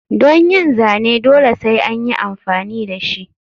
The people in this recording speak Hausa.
Don yin zane dole sai anyi amfani dashi.